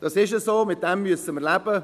Das ist so, damit müssen wir leben.